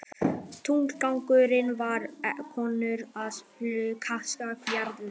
Tilgangurinn var einkum að kanna jarðlög.